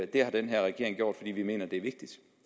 det har den her regering gjort fordi vi mener det er vigtigt